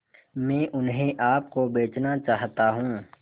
मैं उन्हें आप को बेचना चाहता हूं